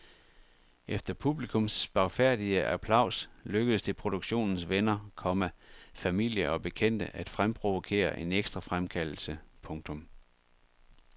Efter publikums spagfærdige applaus lykkedes det produktionens venner, komma familie og bekendte at fremprovokere en ekstra fremkaldelse. punktum